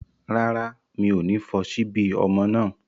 Rárá, mi ò ní fọ ṣíbí ọmọ náà